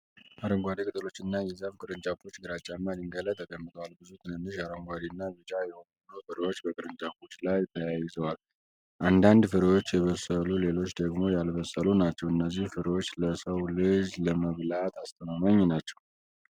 አረንጓዴ ቅጠሎችና የዛፍ ቅርንጫፎች ግራጫማ ድንጋይ ላይ ተቀምጠዋል። ብዙ ትንንሽ አረንጓዴ እና ቢጫ የሆኑ ፍሬዎች በቅርንጫፎቹ ላይ ተያይዘዋል። አንዳንድ ፍሬዎች የበሰሉ ሌሎች ደግሞ ያልበሰሉ ናቸው። እነዚህ ፍሬዎች ለሰው ልጅ ለመብላት አስተማማኝ ናቸው?